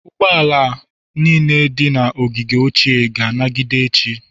Ụgbọ ala niile dị na ogige ochie ga-anagide echi.